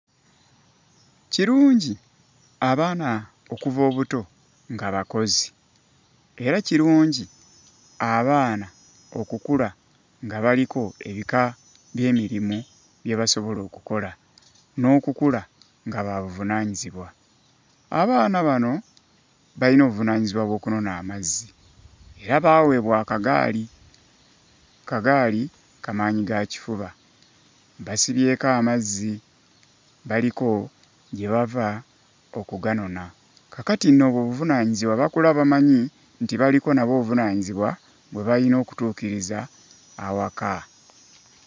Kirungi abaana okuva obuto nga bakozi, era kirungi abaana okukula nga baliko ebika by'emirimu bye basobola okukola, n'okukula nga babuvunaanyizibwa. Abaana bano bayina obuvunaanyizibwa bw'okunona amazzi era baawebwa akagaali, kagaali kamaanyigakifuba, basibyeko amazzi baliko gye bava okuganona. Kaakati nno obwo obuvunaanyizibwa bakula bamanyi nti baliko nabo obuvunaanyizibwa bwe bayina okutuukiriza awaka.